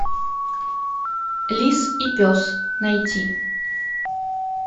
лис и пес найти